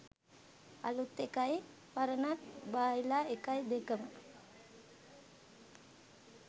අලුත් එකයි පරණ බයිලා එකයි දෙකම.